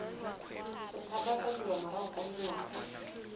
go tshabafadiwa morago ga dingwaga